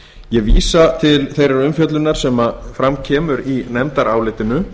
ég vísa til þeirrar umfjöllun sem fram kemur í nefndarálitinu